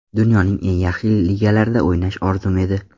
Dunyoning eng yaxshi ligalarida o‘ynash orzum edi.